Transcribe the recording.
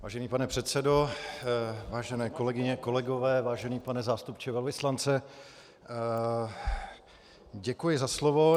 Vážený pane předsedo, vážené kolegyně, kolegové, vážený pane zástupce velvyslance , děkuji za slovo.